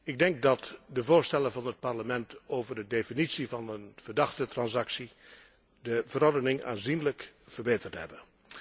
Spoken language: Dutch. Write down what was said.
Ik denk dat de voorstellen van het Parlement over de definitie van een verdachte transactie de verordening aanzienlijk verbeterd hebben.